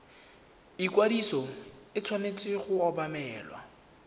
ikwadiso e tshwanetse go obamelwa